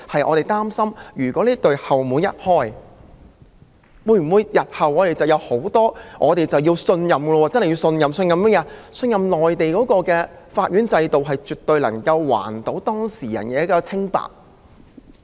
我們擔心的是這扇後門一旦打開，日後會否......我們可否信任內地的法院制度絕對能夠還當事人的清白？